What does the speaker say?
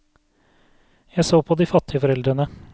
Jeg så på de fattige foreldrene.